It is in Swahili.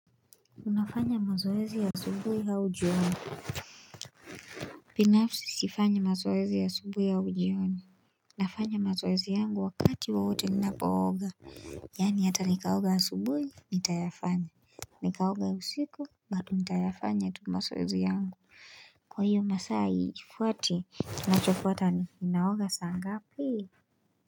Unafanya mazoezi asubuhi au jioni binafsi sifanyi mazoezi asubuhi au jiona nafanya mazoezi yangu wa kati wowote nina pooga. Yani hata nikaoga asubuhi, nitayafanya. Nikaoga usiku, bado nitayafanya tu mazoezi yangu. Kwa iyo masaa haifuati nina chofuata ni, ninaoga saa ngapi.